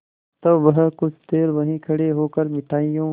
तब वह कुछ देर वहीं खड़े होकर मिठाइयों